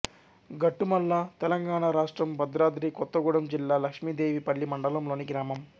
గట్టుమల్ల తెలంగాణ రాష్ట్రం భద్రాద్రి కొత్తగూడెం జిల్లా లక్ష్మీదేవిపల్లి మండలంలోని గ్రామం